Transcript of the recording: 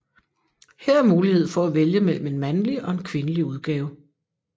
Her er mulighed for at vælge mellem en mandlig og en kvindelig udgave